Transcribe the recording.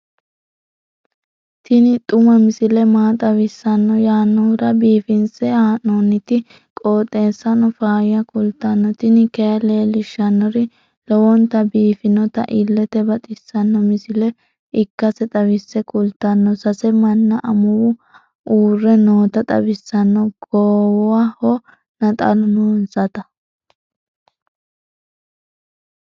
tini xuma misile maa xawissanno yaannohura biifinse haa'noonniti qooxeessano faayya kultanno tini kayi leellishshannori lowonta biiffinota illete baxissanno misile ikkase xawisse kultanno. sase manna amuwa uurre noota xawissanno goowaho naxalu noonsata